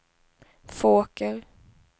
Fåker